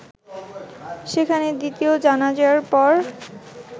সেখানে দ্বিতীয় জানাজার পর